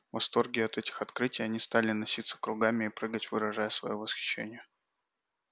в восторге от этих открытий они стали носиться кругами и прыгать выражая своё восхищение